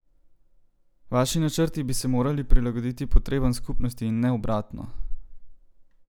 Vaši načrti bi se morali prilagoditi potrebam skupnosti in ne obratno!